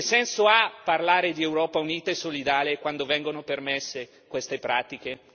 Che senso ha parlare di Europa unita e solidale quando vengono permesse queste pratiche?